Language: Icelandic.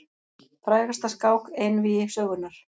Frægasta skák einvígi sögunnar.